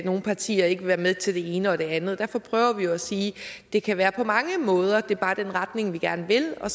nogle partier ikke være med til det ene og det andet derfor prøver vi at sige at det kan være på mange måder at det bare er den retning vi gerne vil og